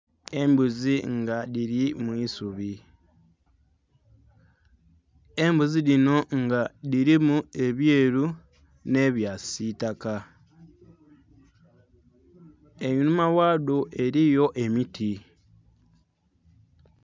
Embuzi nga dhili mwiisubi, embuzi dhinho nga dhilimu ebyelu nhe bya kisitaka einhuma ghadho eliyo emiti.